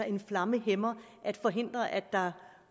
en flammehæmmer forhindrer at der